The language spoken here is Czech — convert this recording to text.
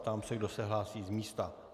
Ptám se, kdo se hlásí z místa.